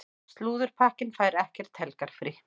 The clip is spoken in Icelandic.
Slúðurpakkinn fær ekkert helgarfrí.